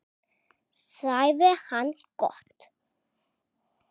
sagði hann: Gott.